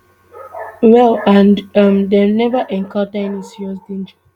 well and um dem neva encounter any serious danger